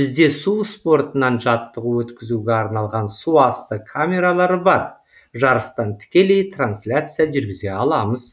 бізде су спортынан жаттығу өткізуге арналған суасты камералары бар жарыстан тікелей трансляция жүргізе аламыз